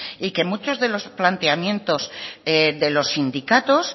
y que muchos de los planteamientos de los sindicatos